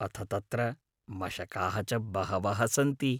अथ तत्र मशकाः च बहवः सन्ति।